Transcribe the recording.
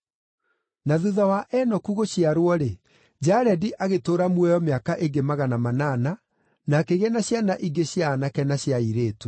Na thuutha wa Enoku gũciarwo-rĩ, Jaredi agĩtũũra muoyo mĩaka ĩngĩ magana manana, na akĩgĩa na ciana ingĩ cia aanake na cia airĩtu.